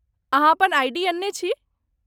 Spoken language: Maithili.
अहाँ अपन आईडी अनने छी?